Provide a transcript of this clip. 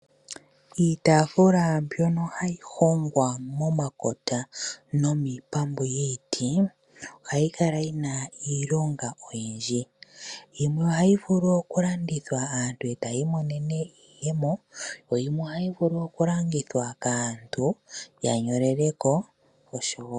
Iitaafuula mbyono hayi hongwa momakota nomiipambu yiiti ohayi kala yi na iilonga oyindji. Yimwe ohayi vulu okulandithwa aantu eta ya imonene iiyemo, yo yimwe ohayi vulu okulongithwa kaantu ya nyolele ko.